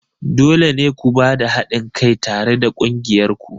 Dole ne ku ba da haɗin kai tare da ƙungiyar ku!